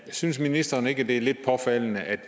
synes ministeren ikke at det er lidt påfaldende at